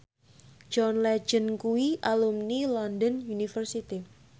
John Legend kuwi alumni London University